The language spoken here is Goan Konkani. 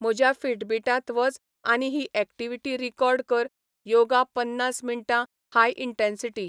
म्हज्या फिटबीटांत वच आनी ही ऍक्टीवीटी रीकॉर्ड कर योगा पन्नास मिनटां हाय इंटॅन्सीटी